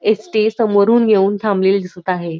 ST. समोरून येऊन थांबलेली दिसत आहे.